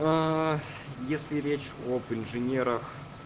если речь об инженерах